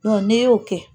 n'e y'o kɛ